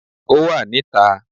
Ò wà ní ta